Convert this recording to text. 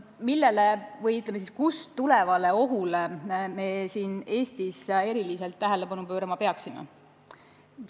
Millele või, ütleme siis, kust tulenevale ohule me siin Eestis erilist tähelepanu pöörama peaksime?